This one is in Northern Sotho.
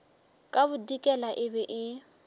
ka bodikela e be e